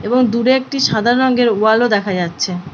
এবং দূরে একটি সাদা রঙের ওয়াল ও দেখা যাচ্ছে।